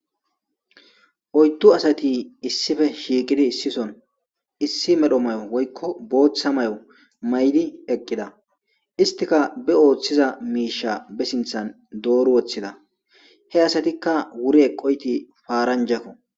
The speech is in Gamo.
Oyttu asati issife shiiqidi issison issi medho may7o woykko booththa may7o maydi eqqida istika be ooththiza miisha be sinthan dooru woththida he asatikka wuri eqoyti paaranjakko.